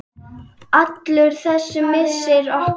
Allur þessi missir okkar.